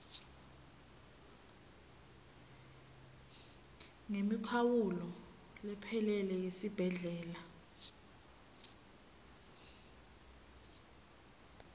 ngemikhawulo lephelele yesibhedlela